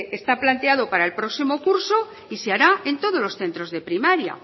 está planteado para el próximo curso y se hará en todos los centros de primaria